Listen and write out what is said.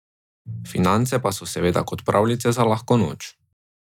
Finance pa so seveda kot pravljice za lahko noč.